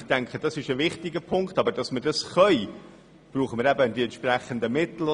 Damit wir dies tun können, brauchen wir die entsprechenden Mittel.